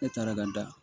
E taara ka da